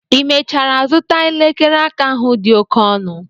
i mechara zụta elekere aka ahụ dị oke ọnụ?